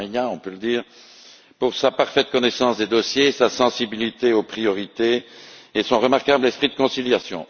on peut le dire, pour sa parfaite connaissance des dossiers, sa sensibilité aux priorités et son remarquable esprit de conciliation.